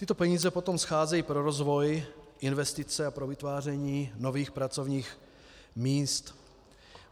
Tyto peníze potom scházejí pro rozvoj investic a pro vytváření nových pracovních míst.